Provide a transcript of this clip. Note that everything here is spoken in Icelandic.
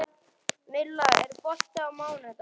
Milla, er bolti á mánudaginn?